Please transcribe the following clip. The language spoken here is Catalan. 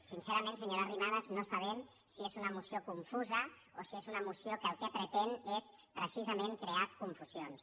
sincerament senyora arrimadas no sabem si és una moció confusa o si és una moció que el que pretén és precisament crear confusions